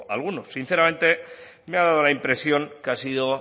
alguno sinceramente me ha dado la impresión que ha sido